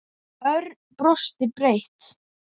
Örn brosti breitt.